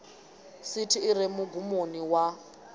sithi i re mugumoni wa